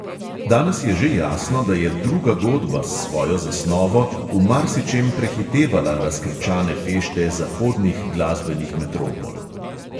Danes je že jasno, da je druga godba s svojo zasnovo v marsičem prehitevala razkričane fešte zahodnih glasbenih metropol.